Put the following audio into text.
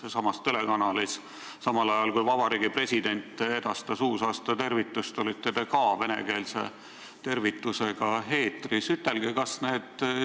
Samas telekanalis olite te eetris venekeelse tervitusega, samal ajal kui Vabariigi President edastas oma uusaastatervitust.